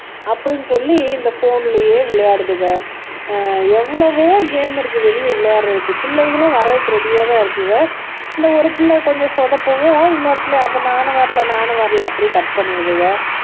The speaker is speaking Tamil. அப்படின்னு சொல்லி இந்த போன்லயே விளையாடுதுக ஆஹ் எவ்வளவோ கேம் இருக்கு வெளிய விளையாடுறதுக்கு பிள்ளைகளும் வர்றதுக்கு ரெடியாதான் இருக்குங்க இந்த ஒரு பிள்ளை கொஞ்சம் சொதப்பவும் இன்னொரு பிள்ளையும் அப்ப நானும் வரல நானும் வரல அப்படியே கட் பண்ணிடுதுங்க